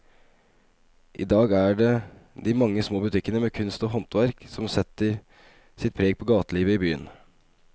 I dag er det de mange små butikkene med kunst og håndverk som setter sitt preg på gatelivet i byen.